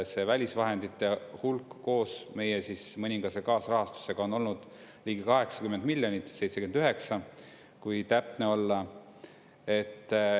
See välisvahendite hulk koos meie mõningase kaasrahastusega on olnud ligi 80 miljonit – 79, kui täpne olla.